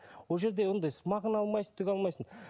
ол жерде ондай мағына алмайсың түк алмайсың